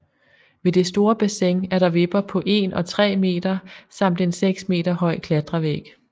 Ved det store bassin er der vipper på 1 og 3 meter samt en 6 meter høj klatrevæg